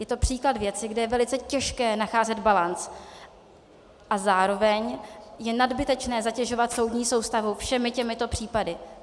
Je to příklad věci, kde je velice těžké nacházet balanc a zároveň je nadbytečné zatěžovat soudní soustavu všemi těmito případy.